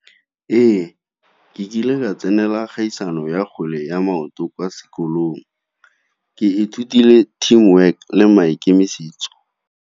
Ee, ke kile ka tsenela kgaisano ya kgwele ya maoto kwa sekolong, ke ithutile team work le maikemisetso.